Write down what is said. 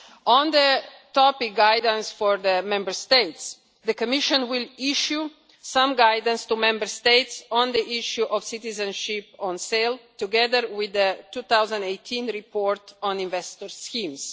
On the topic of guidance for Member States, the Commission will issue some guidance to Member States on the question of citizenship for sale, together with the 2018 report on investor schemes.